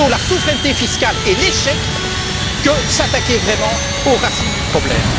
Plutôt la souveraineté fiscale et l'échec que de s'attaquer vraiment aux racines du problème.